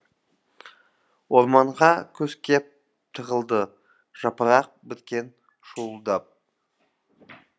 орманға күз кеп тығылды жапырақ біткен шуылдап